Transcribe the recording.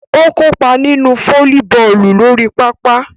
O kopa ninu folliboolu lori papa.